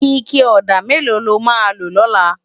Iké òdá méló ló má lo lòlá?